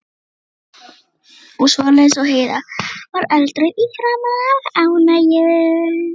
og svoleiðis, og Heiða varð eldrauð í framan af ánægju.